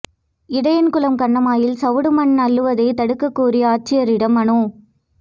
இடையன்குளம் கண்மாயில் சவடு மண் அள்ளுவதை தடுக்கக் கோரி ஆட்சியரிடம் மனு